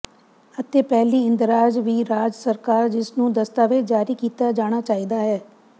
ਅਤੇ ਪਹਿਲੀ ਇੰਦਰਾਜ਼ ਵੀ ਰਾਜ ਸਰਕਾਰ ਜਿਸ ਨੂੰ ਦਸਤਾਵੇਜ਼ ਜਾਰੀ ਕੀਤਾ ਜਾਣਾ ਚਾਹੀਦਾ ਹੈ